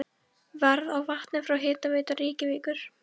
Verð á vatni frá Hitaveitu Reykjavíkur